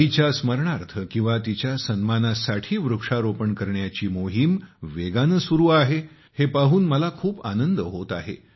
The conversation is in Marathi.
आईच्या स्मरणार्थ किंवा तिच्या सन्मानासाठी वृक्षारोपण करण्याची मोहीम वेगाने सुरू आहे हे पाहून मला खूप आनंद होत आहे